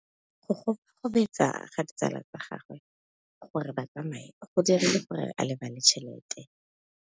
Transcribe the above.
Go gobagobetsa ga ditsala tsa gagwe, gore ba tsamaye go dirile gore a lebale tšhelete.